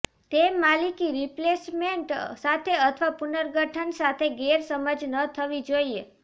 તે માલિક રિપ્લેસમેન્ટ સાથે અથવા પુનર્ગઠન સાથે ગેરસમજ ન થવી જોઇએ